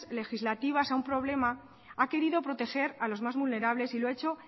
legislativasa un problema ha querido proteger a los más vulnerables y lo ha hecho